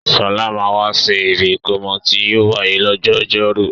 Sọlá máa wà sì ibi ìkómọ tí yìí ó wáyé lọ́jọ́ ọjọ́rú